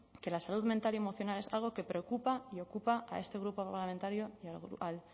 que la salud mental y emocional es algo que preocupa y ocupa a este grupo parlamentario y al